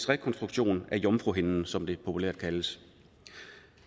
rekonstruktion af jomfruhinden som det populært kaldes